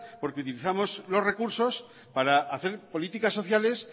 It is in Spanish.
porque utilizamos los recursos para hacer políticas sociales